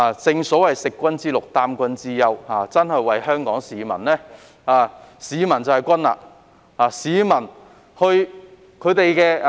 正所謂"食君之祿，擔君之憂"，香港市民便是君，要真正為市民服務。